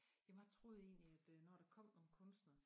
Jamen jeg troede egentlig at øh når der kom nogen kunstnere